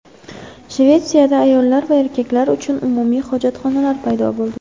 Shvetsiyada ayollar va erkaklar uchun umumiy hojatxonalar paydo bo‘ldi.